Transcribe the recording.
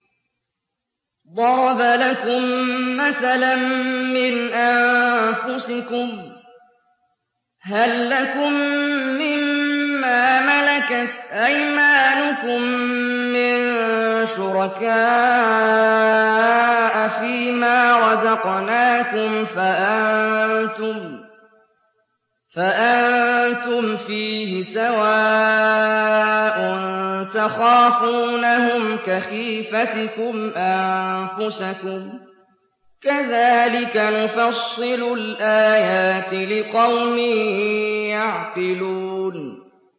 ضَرَبَ لَكُم مَّثَلًا مِّنْ أَنفُسِكُمْ ۖ هَل لَّكُم مِّن مَّا مَلَكَتْ أَيْمَانُكُم مِّن شُرَكَاءَ فِي مَا رَزَقْنَاكُمْ فَأَنتُمْ فِيهِ سَوَاءٌ تَخَافُونَهُمْ كَخِيفَتِكُمْ أَنفُسَكُمْ ۚ كَذَٰلِكَ نُفَصِّلُ الْآيَاتِ لِقَوْمٍ يَعْقِلُونَ